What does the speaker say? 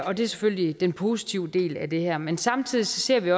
og det er selvfølgelig den positive del af det her men samtidig ser vi